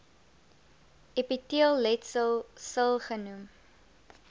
epiteelletsel sil genoem